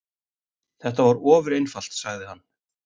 Þetta var ofureinfalt, sagði hann.